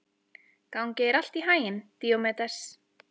Gangi þér allt í haginn, Díómedes.